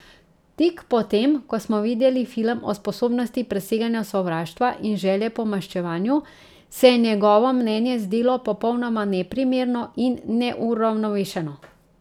Tik po tem, ko smo videli film o sposobnosti preseganja sovraštva in želje po maščevanju, se je njegovo mnenje zdelo popolnoma neprimerno in neuravnovešeno.